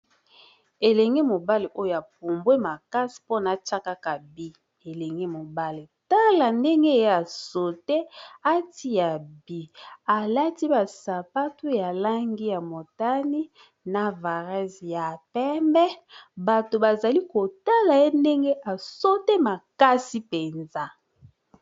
Elenge mobali oyo apumbwe makasi mpona tia kaka but elenge mobali tala ndenge ya sote atia but alati ba sapatu ya langi ya motani na varese ya pembe bato bazali kotala ye ndenge asote makasi mpenza.